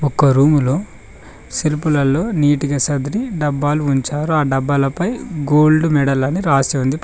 ఒక రూములో సెల్పులల్లో నీటిగా సర్దిరి డబ్బాలు ఉంచారు ఆ డబ్బాలపై గోల్డ్ మెడల్ అని రాసి ఉంది.